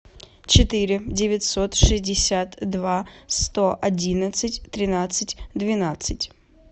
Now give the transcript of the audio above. четыре девятьсот шестьдесят два сто одиннадцать тринадцать двенадцать